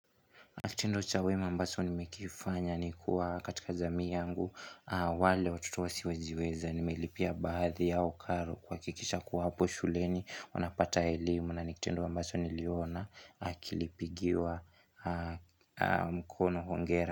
Na kitendo cha wema ambacho nimekifanya ni kuwa katika jamii yangu wale watoto wasiojiweza nimelipia baadhi yao karo kuhakikisha kuwa hapo shuleni wanapata elimu na ni kitendo ambacho niliona kilipigiwa mkono hongera.